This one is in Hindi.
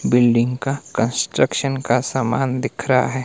बिल्डिंग का कंस्ट्रक्शन का सामान दिख रहा है।